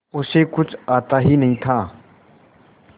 उसे कुछ आता ही नहीं था